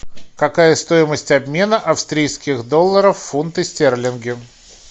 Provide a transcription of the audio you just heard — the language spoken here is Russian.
какая стоимость обмена австрийских долларов в фунты стерлинги